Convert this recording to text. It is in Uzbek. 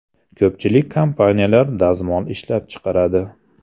Ko‘pchilik kompaniyalar dazmol ishlab chiqaradi.